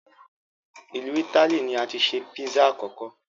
Ilu Itili ni ati se Pizza akọkọ